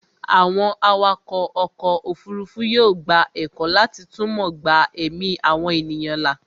àwọn atukọ̀ ọkọ̀ òfurufú yóò gba ẹ̀kọ́ láti túmọ̀ gba ẹ̀mí àwọn ènìyàn là